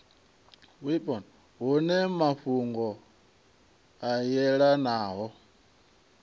wipo hune mafhungo a yelanaho